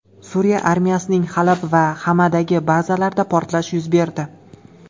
Suriya armiyasining Halab va Xamadagi bazalarida portlash yuz berdi.